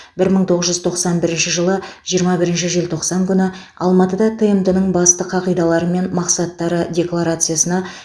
бір мың тоғыз жүз тоқсан бірінші жылы жиырма бірінші желтоқсан күні алматыда тмд ның басты қағидалары мен мақсаттары декларациясына